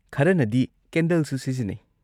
ꯈꯔꯅꯗꯤ ꯀꯦꯟꯗꯜꯁꯨ ꯁꯤꯖꯤꯟꯅꯩ꯫